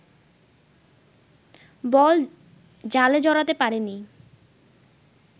বল জালে জড়াতে পারেননি